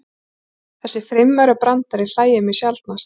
Þessi fimmaurabrandari hlægir mig sjaldnast.